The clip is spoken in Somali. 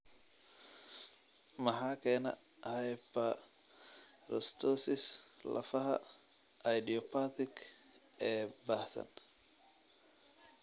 Maxaa keena hyperostosis lafaha idiopathic ee baahsan?